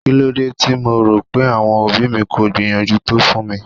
Kílódé tí mo rò pé àwọn òbí mi kò gbìyànjú tó fún mi?